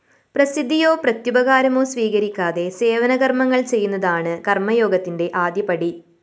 പ്രസിദ്ധിയോ പ്രത്യുപകാരമോ സ്വീകരിക്കാതെ സേവന കര്‍മ്മങ്ങള്‍ ചെയ്യുന്നതാണ് കര്‍മ്മയോഗത്തിന്റെ ആദ്യപടി